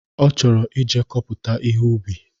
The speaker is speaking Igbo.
Ọ chọrọ ije kọpụta ihe ubi